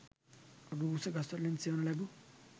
රූස්ස ගස්වලින් සෙවන ලැබූ